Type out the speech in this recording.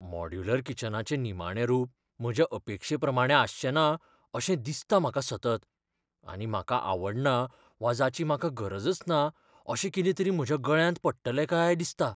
Modular किचनाचें निमाणें रूप म्हज्या अपेक्षेप्रमाणें आसचेंना अशें दिसता म्हाका सतत, आनी म्हाका आवडना वा जाची म्हाका गरजच ना अशें कितें तरी म्हज्या गळ्यांत पडटलें काय दिसता.